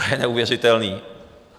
To je neuvěřitelné.